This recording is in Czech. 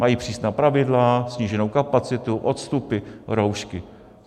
Mají přísná pravidla, sníženou kapacitu, odstupy, roušky.